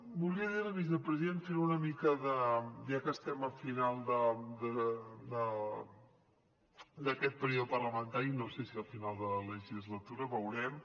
volia dir li vicepresident fent una mica ja que estem a final d’aquest període parlamentari no sé si al final de la legislatura veurem